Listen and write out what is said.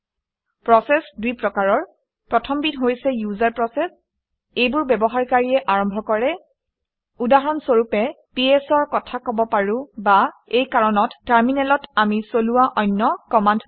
Process দুই প্ৰকাৰৰ। প্ৰথমবিধ হৈছে ইউজাৰ প্ৰচেচ। এইবোৰ ব্যৱহাৰকাৰীয়ে আৰম্ভ কৰে। উদাহৰণ স্বৰূপে ps অৰ কথা কব পাৰো বা এই কাৰণত টাৰমিনেলত আমি চলোৱা অন্য কমাণ্ডবোৰ